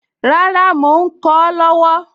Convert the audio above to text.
Rárá, mò ń kọ ọ́ lọ́wọ́